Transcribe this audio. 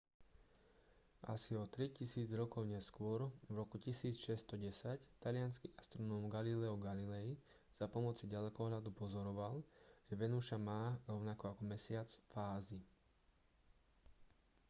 asi o tri tisíc rokov neskôr v roku 1610 taliansky astronóm galileo galilei za pomoci ďalekohľadu pozoroval že venuša má rovnako ako mesiac fázy